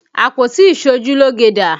Àpótí iṣojúlógé dà?